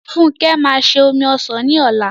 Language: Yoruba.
Funke máa se omi ọsàn ní ọ̀la m